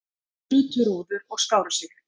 Brutu rúður og skáru sig